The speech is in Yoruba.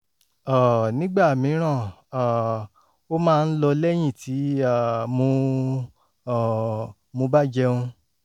um nígbà mìíràn um ó máa ń lọ lẹ́yìn tí um mo um mo bá jẹun